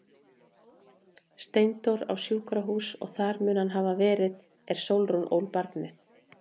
Steindór á sjúkrahús og þar mun hann hafa verið er Sólrún ól barnið.